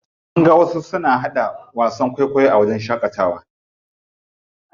Mun ga wasu suna haɗa wasan kwaikwayo a wajen shaƙatawa.